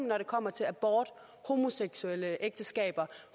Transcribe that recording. når det kommer til abort homoseksuelle ægteskaber